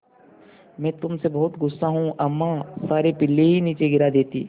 मैं तुम से बहुत गु़स्सा हूँ अम्मा सारे पिल्ले ही नीचे गिरा देतीं